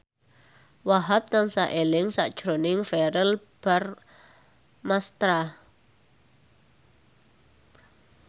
Wahhab tansah eling sakjroning Verrell Bramastra